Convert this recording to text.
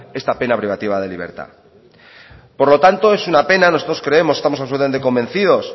esta pena privativa de libertad por lo tanto es una pena nosotros creemos estamos absolutamente convencidos